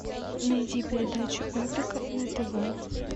найди передачу эврика на тв